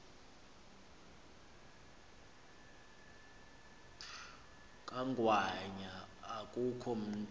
kangwanya akukho mntu